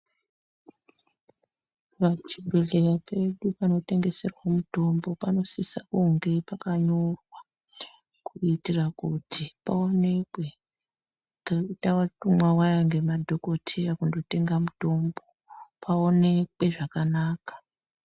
Pachibhedhleya pedu panotengeserwa mutombo panosisa kunge pakanyorwa kuitira kuti paoneke ngekuti tatumwa waya zviya ngemadhokoteya kundotenga mutombo paonekwe zvakanaka.